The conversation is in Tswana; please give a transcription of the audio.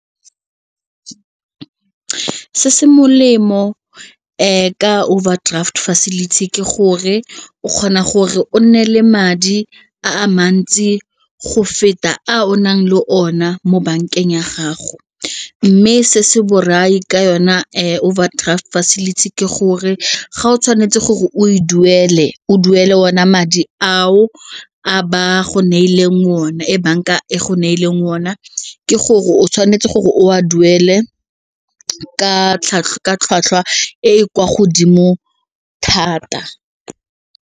Se se molemo ka overdraft facility ke gore o kgona gore o nne le madi a mantsi go feta a o nang le one mo bankeng ya gago mme se se borai ka yona overdraft facility ke gore ga o tshwanetse gore o e duele, o duele ona madi ao a ba go neileng o one e banka e go neileng one ke gore o tshwanetse gore o a duele tlhwatlhwa e kwa godimo thata.